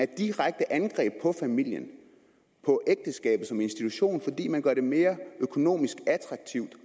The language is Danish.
direkte angreb på familien og som institution fordi man gør det mere økonomisk attraktivt